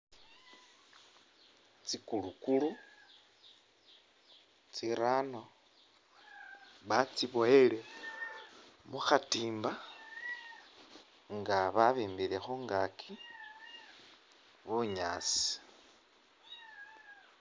Tsi kulukulu tsirano ba’tsibowele mukhatimba nga babimbile khungaki bunyaasi.